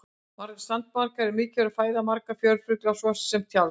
sandmaðkar eru mikilvæg fæða margra fjörufugla svo sem tjalds